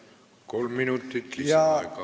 Kolm minutit lisaaega.